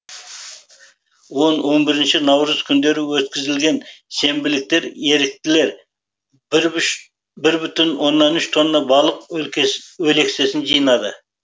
он он бірінші наурыз күндері өткізілген сенбіліктер еріктілер бір бүтін оннан үш тонна балық өлексесін жинады